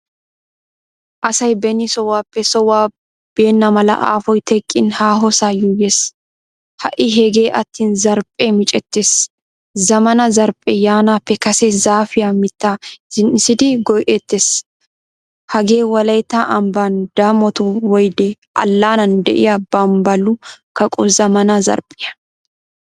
Asay beni sohuwaappe sohuwaa beenamala afoy teqqin haahosaa yuuyees. Ha'i heege attin zarphphee micceettees. Zamaana zarphphee yaanappe kase zaafiyaa mitta zin"isidi go"etees. Hagee wolaytta amban damot woyde allanan deiyaa bambbalu kaqqo zamaana zarphphiyaa.